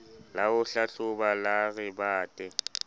la ho hlahloba la rebate